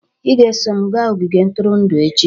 "Ị ga-eso m gaa ogige ntụrụndụ echi"